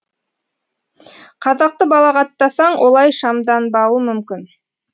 қазақты балағаттасаң олай шамданбауы мүмкін